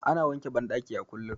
Ana wanke bandaki a kullum